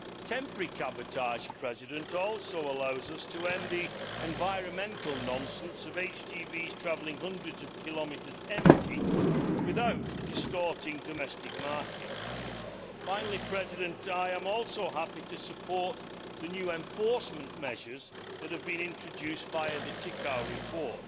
Temporary cabotage also allows us to end the environmental nonsense of HGVs travelling hundreds of kilometres empty, without distorting domestic markets. Finally, I am also happy to support the new enforcement measures that have been introduced via the Ţicău report.